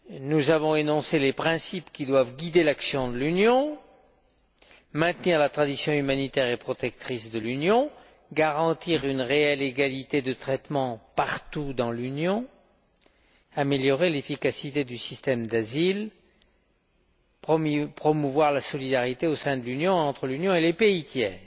Nous avons énoncé les principes qui doivent guider l'action de l'Union, maintenir sa tradition humanitaire et protectrice, garantir une réelle égalité de traitement partout dans l'Union, améliorer l'efficacité du système d'asile, promouvoir la solidarité au sein de l'Union et entre l'Union et les pays tiers.